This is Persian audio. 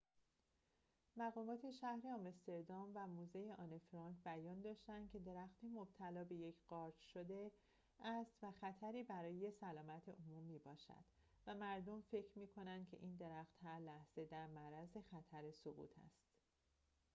مقامات شهر آمستردام و موزه آنه فرانک بیان داشتند که درخت مبتلا به یک قارچ شده است و خطری برای سلامت عموم می‌باشد و مردم فکر می‌کنند که این درخت هر لحظه در معرض خطر سقوط است